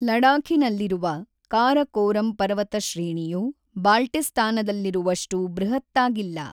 ಲಡಾಖಿನಲ್ಲಿರುವ ಕಾರಕೋರಂ ಪರ್ವತಶ್ರೇಣಿಯು ಬಾಲ್ಟಿಸ್ತಾನದಲ್ಲಿರುವಷ್ಟು ಬೃಹತ್ತಾಗಿಲ್ಲ.